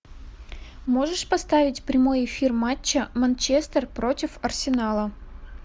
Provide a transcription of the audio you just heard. можешь поставить прямой эфир матча манчестер против арсенала